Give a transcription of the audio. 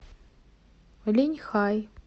линьхай